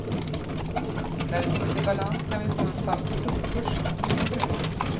När vi kommit i balans kan vi få en fast kronkurs som ett kvitto på det.